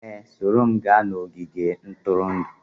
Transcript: Ee, soro m gaa n'ogige ntụrụndụ